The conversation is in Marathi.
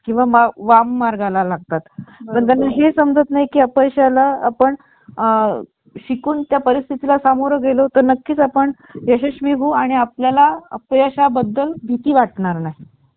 आणि अजून सांगायचं तर ओस बोर्न वन ला मिळणारा चांगला प्रतिसाद पाहत. IBM, Lenovo, HP, Dell, Apple, Acer